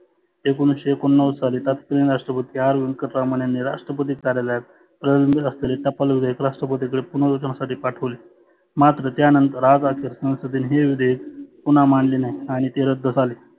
एकोनिसशे एकोणनव्वद साली तत्कालीन राष्ट्रपती R व्यंकटरमन यांनी राष्ट्रपती कार्यालयात आसलेले टपाल विधेयकला राष्ट्रपतीकडे पुनर नुतनासाठी पाठवले. मात्र त्यानंतर आज आखी संसदेने हे विधेयक पुन्हा मांडले नाही आणि ते रद्द झाले.